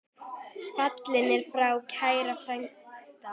Fallinn er frá kær frændi.